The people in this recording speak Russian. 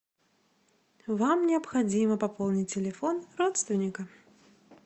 вам необходимо пополнить телефон родственника